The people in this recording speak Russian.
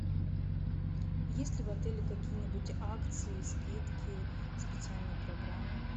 есть ли в отеле какие нибудь акции скидки специальные программы